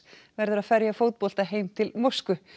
verður að ferja fótbolta heim til Moskvu